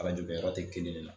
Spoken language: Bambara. Kala joli yɔrɔ tɛ kelen ne na